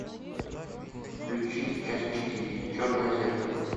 включи часть четыре черное зеркало